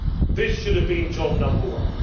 This should have been job number one.